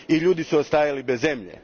I ljudi su ostajali bez zemlje.